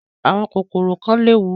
Àwọn kòkòrò kan léwu.